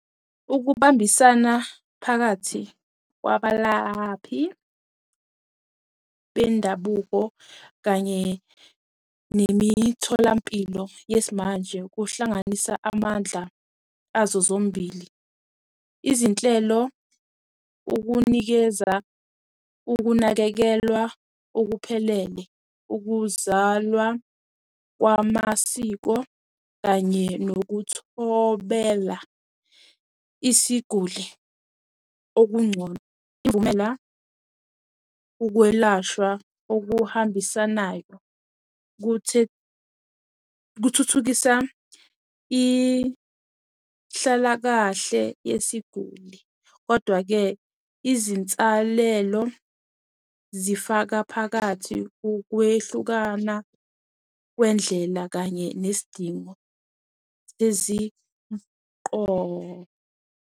Ukubambisana phakathi kwabalaphi bendabuko kanye nemitholampilo yesimanje kuhlanganisa amandla azo zombili. Izinhlelo, ukunikeza, ukunakekelwa okuphelele, ukuzalwa kwamasiko kanye nokuthobela isiguli okungcono ukwelashwa okuhambisana nayo. Kuthuthukisa ihlalakahle yesiguli, odwa-ke izinsalelo zifaka phakathi ukwehlukana kwendlela kanye nesidingo eziqo.